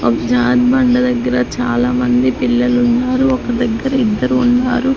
ఒక జారు బండ దగ్గర చాలా మంది పిల్లలున్నారు ఒక దగ్గర ఇద్దరు ఉన్నారు.